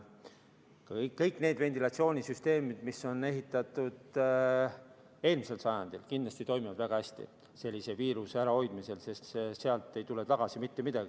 Kõik need ventilatsioonisüsteemid, mis on ehitatud eelmisel sajandil, toimivad viiruse ärahoidmisel kindlasti väga hästi, sest sealt ei tule mitte midagi tagasi.